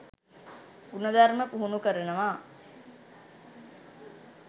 ගුණධර්ම පුහුණු කරනවා